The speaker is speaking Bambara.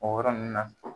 O yɔrɔ ninnu na